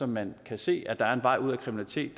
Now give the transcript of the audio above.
man kan se at der er en vej ud af kriminalitet